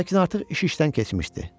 Lakin artıq iş işdən keçmişdi.